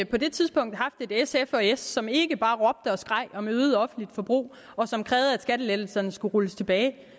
på det tidspunkt haft et sf og s som ikke bare råbte og skreg om øget offentligt forbrug og som krævede at skattelettelserne skulle rulles tilbage